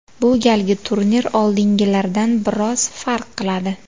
Bu galgi turnir oldingilaridan biroz farq qiladi.